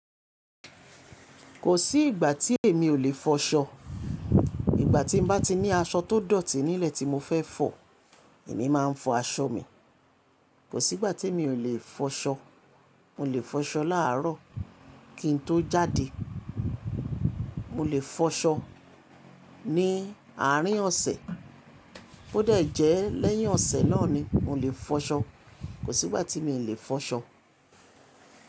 Kò sí ìgbà tí èmi ò lè fọṣọ. Ìgbà tí mo bá ti ní aṣọ tó dọ̀tí nílẹ̀ tí mo fẹ́ fọ̀, èmi máa ń fọ aṣọ mi. Kò sí ìgbà tí mi ò lè fọṣọ. Mo lè fọṣọ láàrọ̀ kí n tó jáde. Mo lè fọṣọ ní àárín ọ̀sẹ̀. Bó dé jẹ́ lẹ́yìn ọ̀sẹ̀ náà ni, mo lè fọṣọ. Kò sí ìgbà tí mi ò lè fọṣọ.